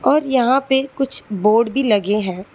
और यहां पे कुछ बोर्ड भी लगे हैं।